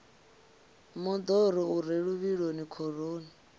moḓoro u re luvhiloni khoroni